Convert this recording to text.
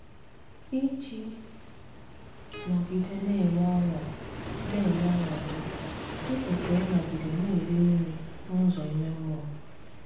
Íjí nógidé ná-enwé ọ́ṅú ná-enwé ọ́ṅú gí, íkwésírí ínọ́gidé ná-éri nri n’úzọ ímé mmụọ́.